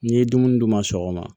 N'i ye dumuni d'u ma sɔgɔma